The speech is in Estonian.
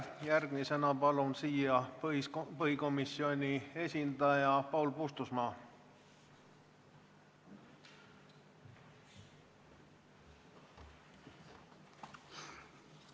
Järgmisena palun kõnetooli põhiseaduskomisjoni esindaja Paul Puustusmaa!